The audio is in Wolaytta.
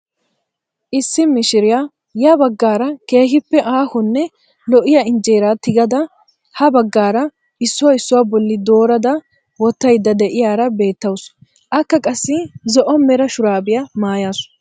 Issi mishiriyaa ya baggaara keehippe aahonne lo"iyaa injeeraa tigada ha baggaara issuwaa issuwaa bolli doorada wottayda de'iyaara beettawu. akka qassi zo'o mera shuraabiyaa mayasu.